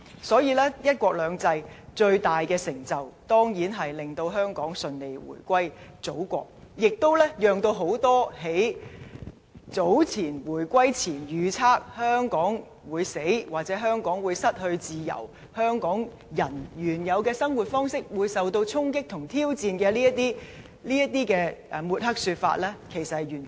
所以，"一國兩制"最大成就，當然是令香港順利回歸祖國。這亦完全否定了很多在回歸前預測"香港會死"、"香港會失去自由"、"香港人原有的生活方式會受到衝擊和挑戰"的抹黑說法。